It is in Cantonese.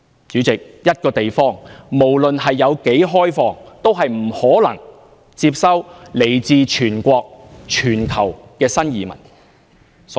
主席，一個地方不論有多開放，也不可能接收來自全國、全球的新移民。